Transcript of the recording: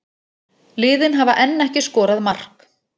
Liðin hafa enn ekki skorað mark